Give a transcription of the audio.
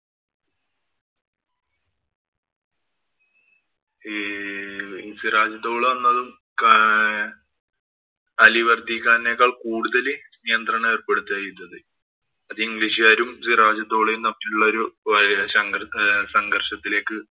ഈ സിറാജ് ദൌള എന്നതും ആഹ് അലി വര്‍ദ്ധിഖാനേക്കാള്‍ കൂടുതല്‍ നിയന്ത്രണം ഏര്‍പ്പെടുത്തുകയുണ്ടായി. അത് ഇംഗ്ലീഷുകാരും സിറാജ് ദൌളയും തമ്മിലുള്ള ഒരു ഏർ ഒരു സംഘര്‍ഷത്തിലേക്ക്